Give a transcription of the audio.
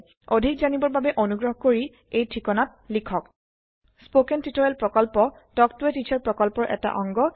অধিক জানিবৰ বাবে অনুগ্ৰহ কৰি এই ঠিকনাত লিখক contactspoken tutorialorg স্পৌকেন টিওটৰিয়েলৰ প্ৰকল্প তাল্ক ত a টিচাৰ প্ৰকল্পৰ এটা অংগ